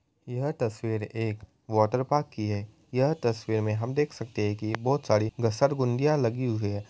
यह तस्वीर एक वाटर पार्क की है| यह तस्वीर में हम देख सकते है कि बहुत सारी घसरगुंदिया लगी है।